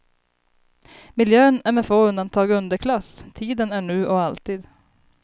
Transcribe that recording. Miljön är med få undantag underklass, tiden är nu och alltid.